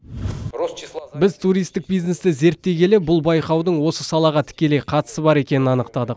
біз туристік бизнесті зерттей келе бұл байқаудың осы салаға тікелей қатысы бар екенін анықтадық